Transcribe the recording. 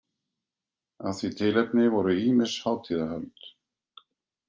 Af því tilefni voru ýmis hátíðahöld.